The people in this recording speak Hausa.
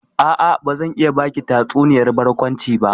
A'a, bazan iya baki tatsuniyar barkwanci ba.